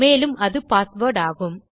மேலும் அது பாஸ்வேர்ட் ஆகும்